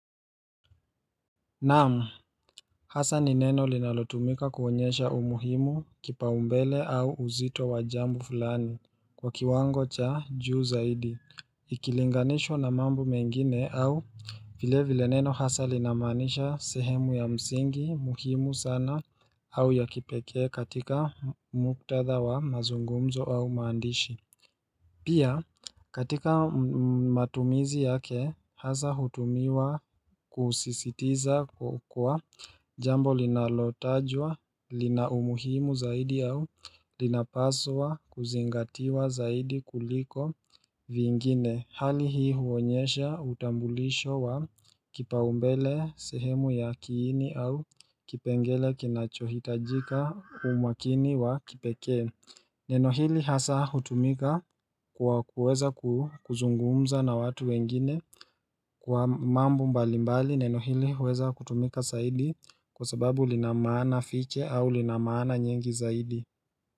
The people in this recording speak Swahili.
Naam hasa ni neno linalotumika kuonyesha umuhimu kipa umbele au uzito wa jambo fulani Kwa kiwango cha juu zaidi ikilinganishwa na mambo mengine au vile vile neno hasa linamaanisha sehemu ya msingi muhimu sana au ya kipekee katika muktadha wa mazungumzo au maandishi Pia katika matumizi yake hasa hutumiwa kusisitiza kukua jambo linalotajwa lina umuhimu zaidi au linapaswa kuzingatiwa zaidi kuliko vingine hali hii huonyesha utambulisho wa kipaumbele sehemu ya kiini au kipengele kinachohitajika kwa umakini wa kipekee Neno hili hasa hutumika kwa kuweza kuzungumza na watu wengine kwa mambo mbali mbali neno hili huweza kutumika saidi kwa sababu linamaana fiche au linamaana nyingi zaidi.